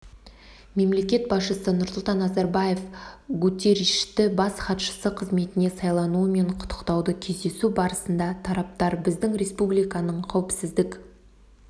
мемлекет басшысы нұрсұлтан назарбаев гутерришті бас хатшысы қызметіне сайлануымен құттықтады кездесу барысында тараптар біздің республиканың қауіпсіздік